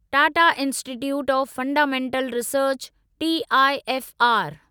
Tata Institute of Fundamental Research TIFR